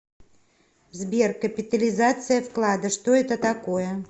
сбер капитализация вклада что это такое